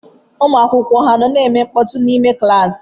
Ụmụ akwụkwọ ha nọ na-eme mkpọtụ n'ime klaasị?